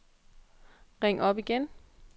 ring op igen